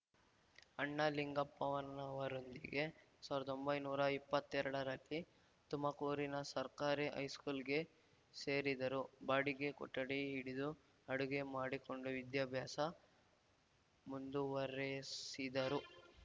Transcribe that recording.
ಅಣ್ಣ ಲಿಂಗಪ್ಪನವರೊಂದಿಗೆ ಸಾವಿರ್ದಾ ಒಂಬೈನೂರಾ ಇಪ್ಪತ್ತೆರಡರಲ್ಲಿ ತುಮಕೂರಿನ ಸರ್ಕಾರಿ ಹೈಸ್ಕೂಲ್ಗೆ ಸೇರಿದರು ಬಾಡಿಗೆ ಕೊಠಡಿ ಹಿಡಿದು ಅಡುಗೆ ಮಾಡಿಕೊಂಡು ವಿದ್ಯಾಭ್ಯಾಸ ಮುಂದುವರೆಸಿದರು